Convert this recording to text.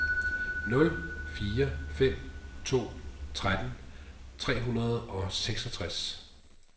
nul fire fem to tretten tre hundrede og seksogtres